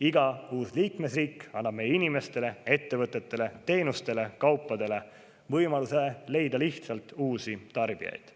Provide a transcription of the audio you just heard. Iga uus liikmesriik annab meie inimestele, ettevõtetele, teenustele ja kaupadele võimaluse leida lihtsalt uusi tarbijaid.